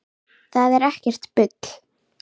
Það er ekkert bull.